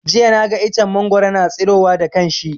Jiya na ga iccen mangwaro na tsiro wa da kanshi